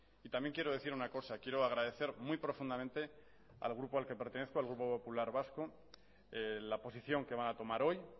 y también quiero decir una cosa quiero agradecer muy profundamente al grupo al que pertenezco al grupo popular vasco la posición que van a tomar hoy